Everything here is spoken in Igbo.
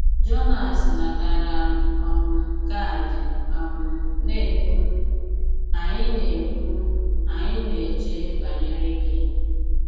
Jònàs natàrà um kààdì um na-ekwu, “Ànyị̀ na-ekwu, “Ànyị̀ na-èchè bànyere gị.